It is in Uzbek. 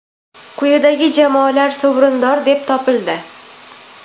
quyidagi jamoalar sovrindor deb topildi:.